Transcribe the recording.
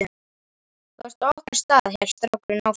Þú ert á okkar stað, hélt strákurinn áfram.